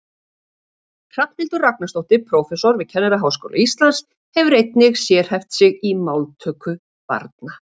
Hrafnhildur Ragnarsdóttir prófessor við Kennaraháskóla Íslands hefur einnig sérhæft sig í máltöku barna.